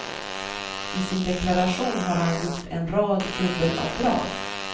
I sin deklaration har han gjort en rad dubbelavdrag.